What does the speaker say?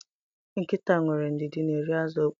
Nkịta nwere ndidi n’eri azu mkpoo